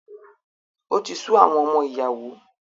O ti su àwọn ọmọ ìyàwó